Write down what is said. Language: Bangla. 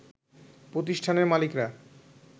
প্রতিষ্ঠানের মালিকরা